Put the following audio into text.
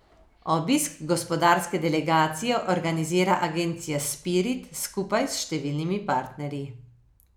Obisk gospodarske delegacije organizira agencija Spirit skupaj s številnimi partnerji.